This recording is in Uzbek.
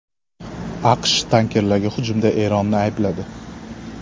AQSh tankerlarga hujumda Eronni aybladi.